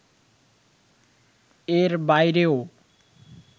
এর বাইরেও